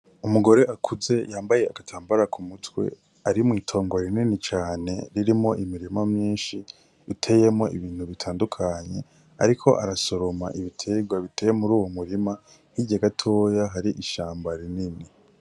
Umuhore akuze yambaye agatambara mumutwe ari mw'itongo rinini cane, ririmwo imirima myinshi iteyemwo ibintu bitandukanye ariko arasoroma ibitegwa biteye muri uwo murima hirya gatoya hari ishamba rinini.